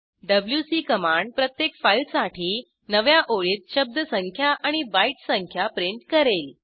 WC command प्रत्येक फाईलसाठी नव्या ओळीत शब्दसंख्या आणि बाईट संख्या प्रिंट करेल